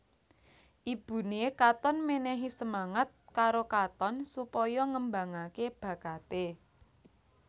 Ibuné Katon mènèhi semangat karo Katon supaya ngembangaké bakaté